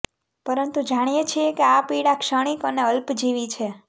પરંતુ જાણીએ છીએ કે આ પીડા ક્ષણિક અને અલ્પજીવી છે